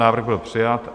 Návrh byl přijat